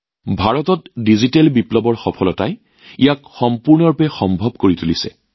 ভাৰতত ডিজিটেল বিপ্লৱৰ সফলতাই এইটো একেবাৰে সম্ভৱপৰ কৰি তুলিছে